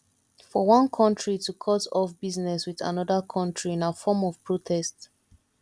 for one country to cut off business with another country na form of protest